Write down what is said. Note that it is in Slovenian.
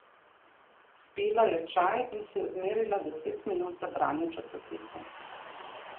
Spila je čaj in si odmerila deset minut za branje časopisov.